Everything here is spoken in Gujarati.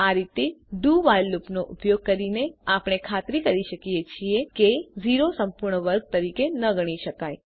આ રીતે ડીઓ while લુપનો ઉપયોગ કરીને આપણે ખાતરી કરી શકીએ છીએ કે 0 સંપૂર્ણ વર્ગ તરીકે ન ગણી શકાય